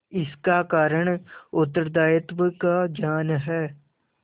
इसका कारण उत्तरदायित्व का ज्ञान है